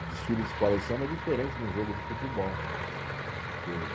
O desfile de escola de samba é diferente de um jogo de futebol, que